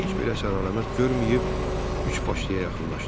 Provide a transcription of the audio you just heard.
Kiberdən heç bir əsər əlamət görməyib üçbaşlıya yaxınlaşdı.